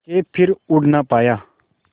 के फिर उड़ ना पाया